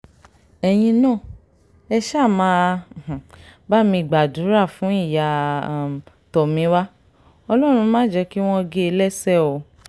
ẹ̀yin náà ẹ ṣáà máa um bá mi gbàdúrà fún ìyá um tomiwa ọlọ́run má jẹ́ kí wọ́n gé e lẹ́sẹ̀ o